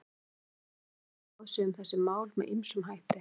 Alþjóðasamfélagið hefur tjáð sig um þessi mál með ýmsum hætti.